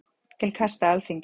Til kasta Alþingis